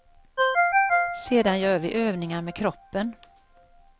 Sedan gör vi övningar med kroppen.